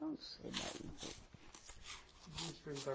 Não sei mais, não sei. Deixa eu perguntar